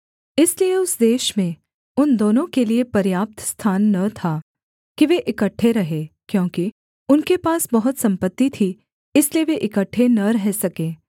इसलिए उस देश में उन दोनों के लिए पर्याप्त स्थान न था कि वे इकट्ठे रहें क्योंकि उनके पास बहुत सम्पत्ति थी इसलिए वे इकट्ठे न रह सके